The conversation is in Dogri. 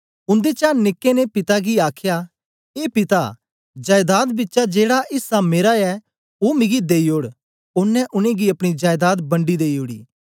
उन्देचा निके ने पिता गी आखया ए पिता जायदाद बिचा जेड़ा ऐसा मेरा ऐ ओ मिगी देई ओड़ ओनें उनेंगी अपनी जायदाद बंडी देई ओड़ी